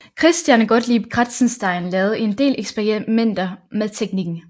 Christian Gottlieb Kratzenstein lavede en del eksperimenter med teknikken